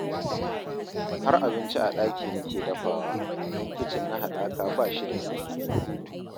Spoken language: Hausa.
Har abinci a ɗaki nake dafawa, don kicin na haɗaka ba shi da sirri